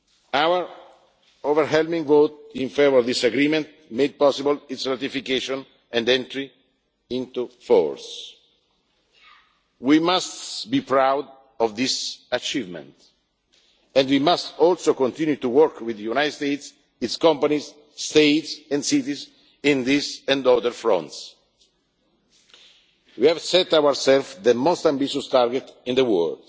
Our overwhelming vote in favour of this agreement made possible its ratification and entry into force. We must be proud of this achievement and we must also continue to work with the United States, its companies, states and cities on this and other fronts. We have set ourselves the most ambitious target in the world.